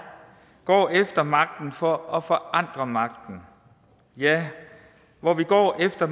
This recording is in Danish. går efter magten for at forandre magten ja hvor vi går efter